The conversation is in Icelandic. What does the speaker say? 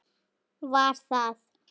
Var það